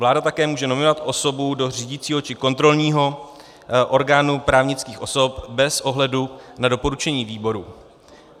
Vláda také může nominovat osobu do řídícího či kontrolního orgánu právnických osob bez ohledu na doporučení výboru.